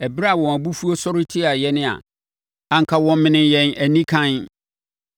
ɛberɛ a wɔn abufuo sɔree tiaa yɛn a, anka wɔmenee yɛn anikann;